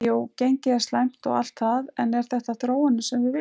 Jú gengið er slæmt og allt það en er þetta þróunin sem við viljum?